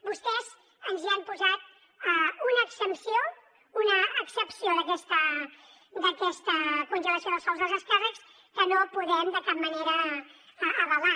vostès ens hi han posat una exempció una excepció d’aquesta congelació dels sous dels alts càrrecs que no podem de cap manera avalar